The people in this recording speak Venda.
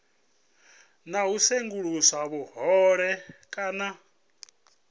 na u sengulusa vhuhole kana